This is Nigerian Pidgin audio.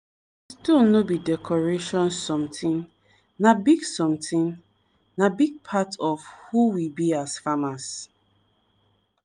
stone no be decoration sometin na big sometin na big part of who we be as farmers.